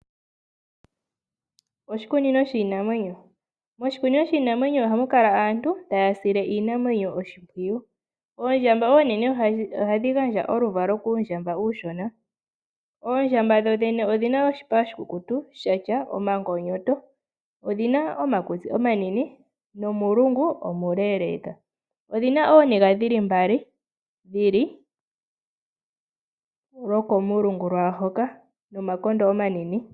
Oshikunino shiinamwenyo Moshikunino shiinamwenyo ohamu kala aantu taya sile iinamwenyo oshimpwiyu. Oondjamba oonene ohadhi vala uundjambwena. Oondjamba dhodhene odhi na oshipa oshikukutu sha tya omagonyoto. Odhi na omakutsi omanene nomunkati omuleeleeka. Odhi na omayego omanene ge li gaali lwokomulungu nomatende omanene.